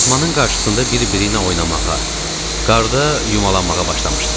Daxmanın qarşısında bir-biriylə oynamağa, qarda yumalanmağa başlamışdılar.